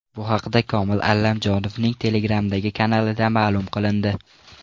Bu haqda Komil Allamjonovning Telegram’dagi kanalida ma’lum qilindi .